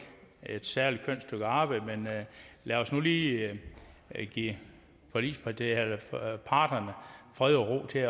særlig kønt stykke arbejde men lad os nu lige give parterne fred og ro til